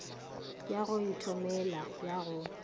ya go ithomela ya go